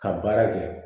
Ka baara kɛ